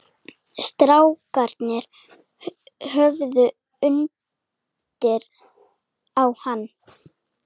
Strákarnir horfðu undrandi á hann.